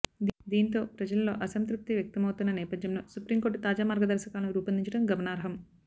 దీంతో ప్రజల్లో అసంతృప్తి వ్యక్తమవుతున్న నేపథ్యంలో సుప్రీం కోర్టు తాజా మార్గదర్శకాలను రూపొందించడం గమనార్హం